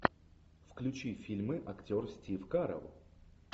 включи фильмы актер стив карелл